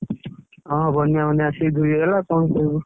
ହଁ ବନ୍ୟା ଫନ୍ୟା ଆସିକି ଧୋଇ ହେଇଗଲା କଣ କରିବୁ।